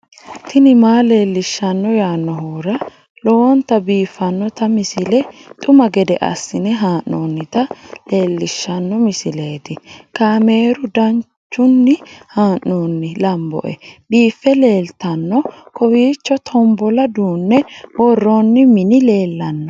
tini maa leelishshanno yaannohura lowonta biiffanota misile xuma gede assine haa'noonnita leellishshanno misileeti kaameru danchunni haa'noonni lamboe biiffe leeeltanno kowiicho tombolla duunne worroonni mini lellanno